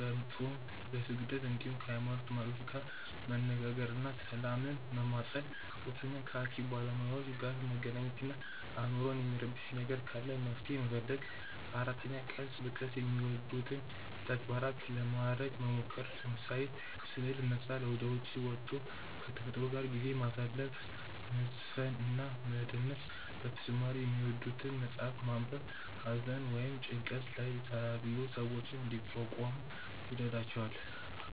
በፆም፣ በስግደት እንዲሁም ከ ሃይሞኖት መሪዎች ጋር መነጋገር እና ሰላምን መማፀን 3. ከ ሃኪም ባለሞያዎች ጋር መገናኘት እና አይምሮን የሚረብሽ ነገር ካለ መፍትሔ መፈለግ 4. ቀስ በቀስ የሚወዱትን ተግባራት ለማረግ መሞከር፤ ለምሳሌ፦ ስዕል መሳል፣ ወደ ዉጪ ወቶ ከ ተፈጥሮ ጋር ጊዜ ማሳለፍ፣ መዝፈን እና መደነስ በተጨማሪ የሚወዱትን መፅሐፍ ማንበብ ሃዘን ወይም ጭንቀት ላይ ያሉ ሰዎችን እንዲቋቋሙ ይረዷቸዋል።